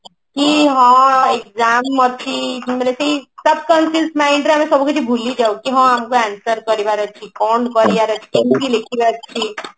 କି ହଁ exam ଅଛି ମାନେ ସେଇ subconscious mind ରେ ଆମେ ସବୁ କିଛି ଭୁଲି ଯାଉ କି ହଁ ଆମକୁ answer କରିବାର ଅଛି କି କଣ କରିବାର ଅଛି କେମତି ଲେଖିବାର ଅଛି